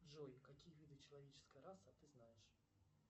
джой какие виды человеческой расы ты знаешь